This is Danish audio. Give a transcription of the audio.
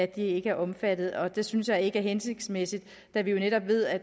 de ikke er omfattet og det synes jeg ikke er hensigtsmæssigt da vi jo netop ved at